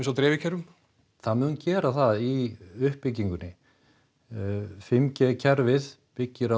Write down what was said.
á dreifikerfum það mun gera það í uppbyggingunni fimm g kerfið byggir á